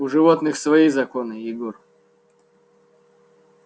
у животных свои законы егор